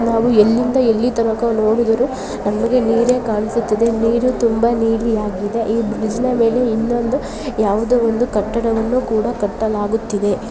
ನಾವು ಎಲ್ಲಿಂದ ಎಲ್ಲಿ ತನಕ ನೋಡಿದರು ನಮಗೆ ನೀರೆ ಕಾಣಿಸುತ್ತಿದೆ ನೀರು ತುಂಬ ನೀಲಿಯಾಗಿದೆ ಈ ಬ್ರಿಡ್ಜನ ಮೇಲೆ ಇನ್ನೊಂದು ಯಾವುದೋ ಒಂದು ಕಟ್ಟಡವನ್ನು ಕೂಡ ಕಟ್ಟಲಾಗುತ್ತಿದೆ .